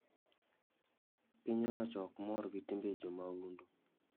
Piny owacho ok mor gi timbe jo maundu